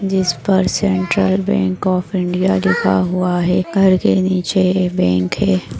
जिसपर Central Bank of India लिखा हुआ है घर के नीचे ये बँक है।